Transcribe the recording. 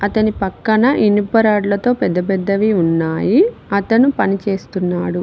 ఇతని పక్కన ఇనుప రాడ్ లతో పెద్ద పెద్దవి ఉన్నాయి అతను పని చేస్తున్నాడు.